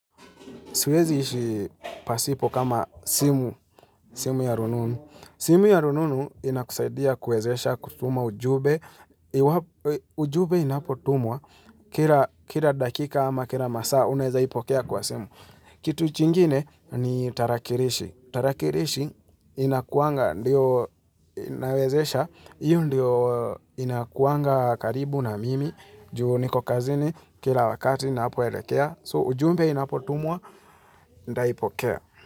Siwezi ishi pasipo kama simu ya rununu. Simu ya rununu inakusaidia kuwezesha kutuma ujumbe. Ujumbe inapotumwa. Kila dakika ama kila masaa unaeza ipokea kwa simu. Kitu chingine ni tarakirishi, tarakirishi inakuanga, ndiyo inawezesha, iyo ndiyo inakuanga karibu na mimi, juu niko kazini kila wakati na hapo edakea, so ujumbe inapotumua, ndaipokea.